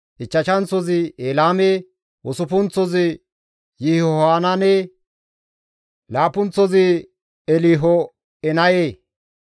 ichchashanththozi Elaame, usuppunththozi Yihohanaane, laappunththozi Elho7enaye.